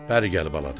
Bəri gəl bala dedi.